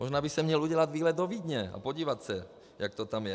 Možná by si měl udělat výlet do Vídně, a podívat se, jak to tam je.